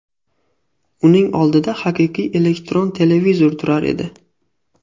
Uning oldida haqiqiy elektron televizor turar edi.